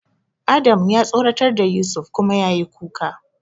Adam ya tsoratar da Yusuf kuma yayi kuka.